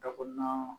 Da kɔnɔna